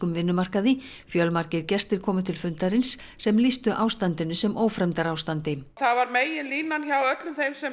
vinnumarkaði fjölmargir gestir komu til fundarins sem lýstu ástandinu sem ófremdarástandi það var meginlínan hjá öllum þeim sem